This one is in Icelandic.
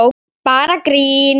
Bara grín!